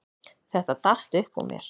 Þetta datt upp úr mér